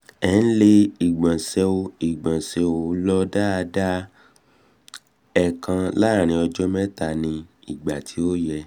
ẹ ǹlẹ́ ìgbọ̀nsẹ̀ ò ìgbọ̀nsẹ̀ ò lọ daada - èèkan láàárín ọjọ́ mẹ́ta ní ìgbà tí ò yẹ